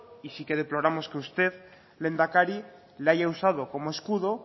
y sí que deploramos que usted lehendakari le haya usado como escudo